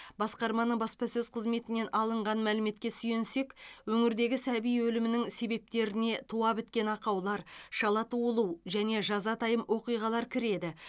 басқарманың баспасөз қызметінен алынған мәліметке сүйенсек өңірдегі сәби өлімінің себептеріне туа біткен ақаулар шала туылу және жазатайым оқиғалар кіреді